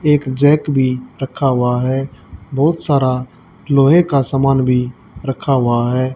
एक जैक भीं रखा हुआ है बहुत सारा लोहे का सामान भीं रखा हुआ है।